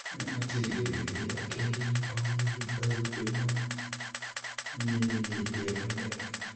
Ne otieg joyundigo kendo ne omigi barupe ma yienegi riembo ndege.